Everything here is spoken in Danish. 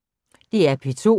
DR P2